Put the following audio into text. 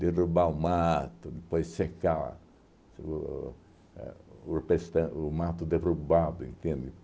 derrubar o mato, depois secar o ãh o perstan o mato derrubado, entende?